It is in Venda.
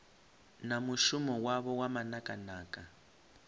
na mushumo wavho wa manakanaka